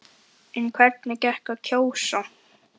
En hvernig gekk að kjósa?